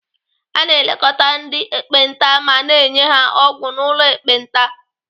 A na-elekọta ndị ekpenta ma na-enye ha ọgwụ n'ụlọ ekpenta.